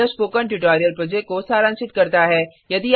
यह spoken tutorial project को सारांशित करता है